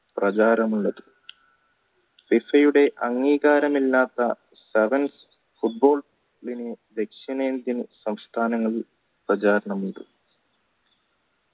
പ്രചാരമുള്ളത് FIFA യുടെ അംഗീകാരമില്ലാത്ത football ദക്ഷിണേന്ത്യൻ സംസ്ഥാനങ്ങളിൽ പ്രചാരണമുണ്ട്